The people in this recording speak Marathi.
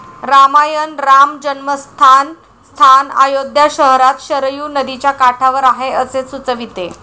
रामायण राम जन्मस्थान स्थान अयोध्या शहरात शरयू नदीच्या काठावर आहे असे सुचविते.